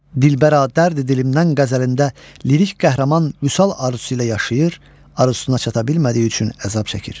Dilbəra dərdi dilimdən qəzəlində lirik qəhrəman vüsal arzusu ilə yaşayır, arzusuna çata bilmədiyi üçün əzab çəkir.